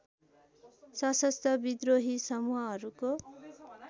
सशस्त्र विद्रोही समूहहरूको